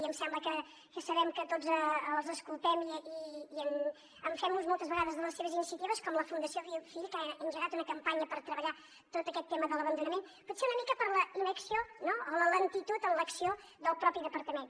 i em sembla que sabem que tots els escoltem i en fem ús moltes vegades de les seves iniciatives com la fundació bofill que ha engegat una campanya per treballar tot aquest tema de l’abandonament potser una mica per la inacció o la lentitud en l’acció del propi departament